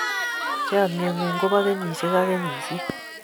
chamiet ng'un ko bo kenyishiek ak kenyishiek